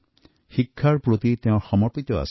তেওঁ সকলো সময়তে শিক্ষক হিচাপে থকাটোকে পছন্দ কৰিছিল